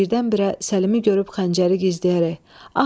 Birdən-birə Səlimi görüb xəncəri gizləyərək.